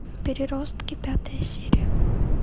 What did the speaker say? переростки пятая серия